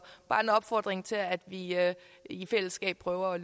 bare en opfordring til at vi i fællesskab prøver